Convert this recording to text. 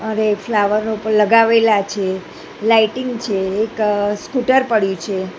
અને ફ્લાવરો પણ લાગેવેલા છે લાઈટિંગ છે એક સ્કૂટર પડ્યુ છે.